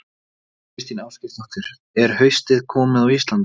Þóra Kristín Ásgeirsdóttir: Er haustið komið á Íslandi?